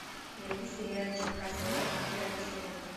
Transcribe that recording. найди сериальчик касл рок девятый сезон